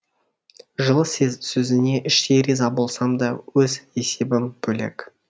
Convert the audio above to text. жылы сөзіне іштей риза болсам да өз есебім бөлек